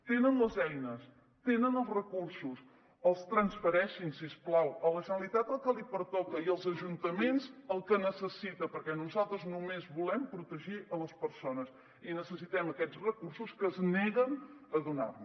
tenen les eines tenen els recursos els transfereixin si us plau a la generalitat el que li pertoca i als ajuntaments el que necessiten perquè nosaltres només volem protegir les persones i necessitem aquests recursos que es neguen a donar nos